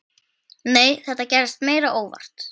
Nei, þetta gerðist meira óvart.